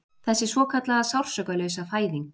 Þessi svokallaða Sársaukalausa fæðing